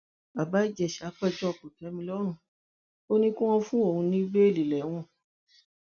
bàbá ìjẹsà péjọ kòtẹmilọrùn ò ní kí wọn fóun ní bẹẹlí lẹwọn